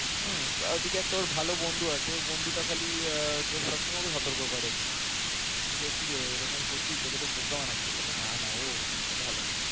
হুম এইদিকে একটা ওর একটা ভালো বন্ধু আছে ঐ বন্ধুটা খালি সবসময় ওকে সতর্ক করে যে কিরে এরকম করছিস তোকে তো বোকা বানাচ্ছে বলে না না ও এরকম না ভালো মেয়ে